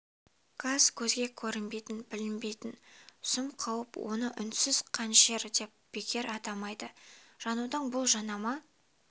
газ көзге көрінбейтін білінбейтін сұм қауіп оны үнсіз қанішер деп бекер атамайды жанудың бұл жанама